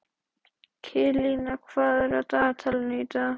Kilían, hvað er á dagatalinu í dag?